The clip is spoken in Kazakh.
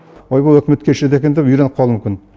ойбай үкімет кешіреді екен деп үйреніп қалуы мүмкін